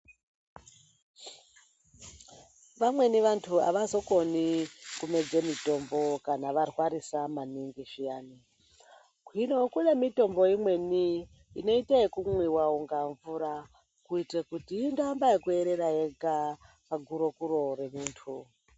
Vamweni vantu havazokoni kumedza mitombo kana varwarisa maningi zviyani. Gwiro kune mitombo imweni inota yekumwiva unga mvura. Kuite kuti indoamba yekuerera yega pagurokuro remuntu.